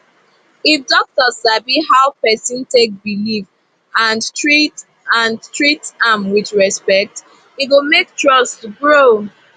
if doctor sabi how person take believe and treat and treat am with respect e go make trust grow